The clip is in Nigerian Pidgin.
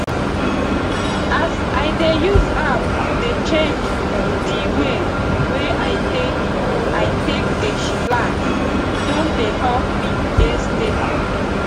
as i dey use app to dey check di way wey i take i take dey chillax don dey help me dey steady